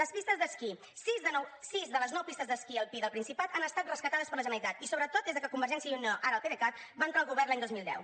les pistes d’esquí sis de les nou pistes d’esquí alpí del principat han estat rescatades per la generalitat i sobretot des de que convergència i unió ara el pdecat va entrar al govern l’any dos mil deu